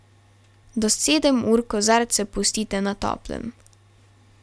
Do sedem ur kozarce pustite na toplem.